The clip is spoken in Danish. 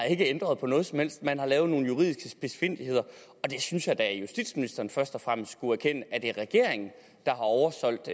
ændret på noget som helst man har lavet nogle juridiske spidsfindigheder jeg synes da at justitsministeren først og fremmest skulle erkende at det er regeringen der har oversolgt